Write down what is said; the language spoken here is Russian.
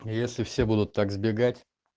если все будут так сбегать